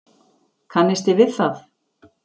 Kannisti við það!